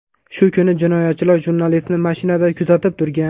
Shu kuni jinoyatchilar jurnalistni mashinada kuzatib turgan.